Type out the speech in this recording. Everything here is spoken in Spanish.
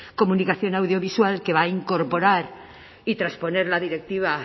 comunicación audiovisual que va a incorporar y transponer la directiva